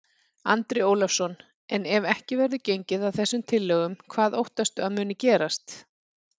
Andri Ólafsson: En ef ekki verður gengið að þessum tillögum, hvað óttastu að muni gerast?